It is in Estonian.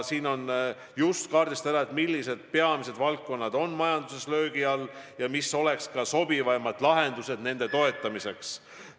On ära kaardistatud, millised valdkonnad on majanduses peamiselt löögi all, ja nüüd mõeldakse, millsed oleks sobivaimad lahendused nende toetamiseks.